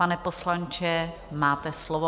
Pane poslanče, máte slovo.